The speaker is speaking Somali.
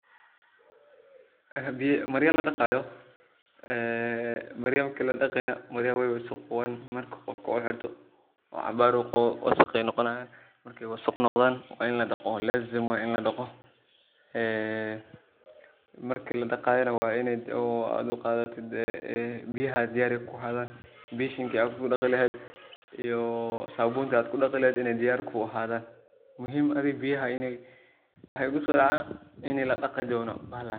Hadi marya ladaqayo, maryaha marki ladaqi maryaha wey wasoqowan marka qofka uu xirto oo cabaar uu qawo wasaq ayey noqonayin, markey wasaq noqdan lazim waye in ladaqo, marki ladaqayo wa inii biyahaga diyar yihin bashinki iyo sabunti ad kudaqi leheed iney diyar kuahadan waxa igusodaca in ladaqi dono bahalahan.